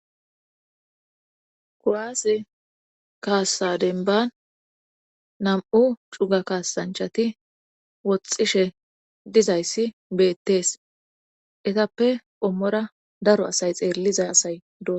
kuaas kaassa denban nam7u cuga kaasanchati woxxishe dizayssi beettees etappe ommora daro asay xeelliza asay d